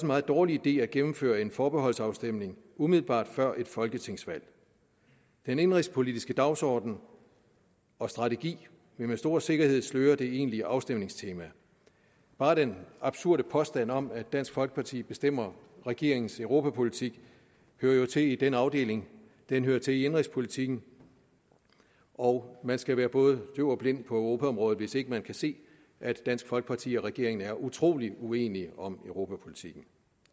meget dårlig idé at gennemføre en forbeholdsafstemning umiddelbart før et folketingsvalg den indenrigspolitiske dagsorden og strategi vil med stor sikkerhed sløre det egentlige afstemningstema bare den absurde påstand om at dansk folkeparti bestemmer regeringens europapolitik hører jo til i den afdeling den hører til i indenrigspolitikken og man skal være både døv og blind på europaområdet hvis ikke man kan se at dansk folkeparti og regeringen er utrolig uenige om europapolitikken